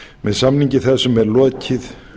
með samningi þessum er lokið